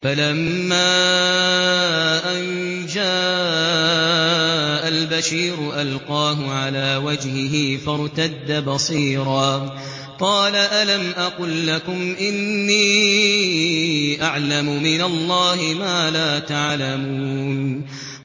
فَلَمَّا أَن جَاءَ الْبَشِيرُ أَلْقَاهُ عَلَىٰ وَجْهِهِ فَارْتَدَّ بَصِيرًا ۖ قَالَ أَلَمْ أَقُل لَّكُمْ إِنِّي أَعْلَمُ مِنَ اللَّهِ مَا لَا تَعْلَمُونَ